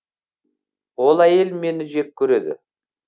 ол әйел мені жек көреді